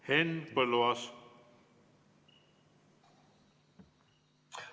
Henn Põlluaas!